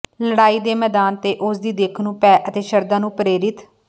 ਲੜਾਈ ਦੇ ਮੈਦਾਨ ਤੇ ਉਸ ਦੀ ਦਿੱਖ ਨੂੰ ਭੈ ਅਤੇ ਸ਼ਰਧਾ ਨੂੰ ਪ੍ਰੇਰਿਤ